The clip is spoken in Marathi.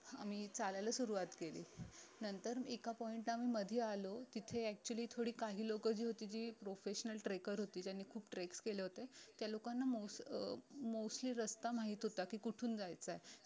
आम्ही चालायला सुरवात केली नंतर एका point ला आम्ही मधी आलो तिथे actually थोडी काही लोक जी होती जी professional trecker होती ज्यांनी खूप treks केले होते त्या लोकाना मोस अं mostly रस्ता माहित होत की कुठून जायचंय